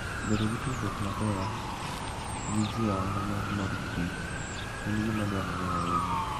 Bedo gi tudruok maber gi ji e ohala mar mor kich en gima dwarore ahinya.